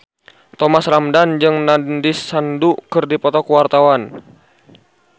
Thomas Ramdhan jeung Nandish Sandhu keur dipoto ku wartawan